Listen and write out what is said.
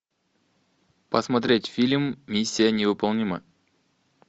посмотреть фильм миссия невыполнима